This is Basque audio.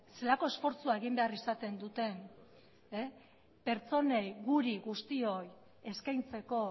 zelako esfortzua egin behar izaten duten pertsonei guri guztioi eskaintzeko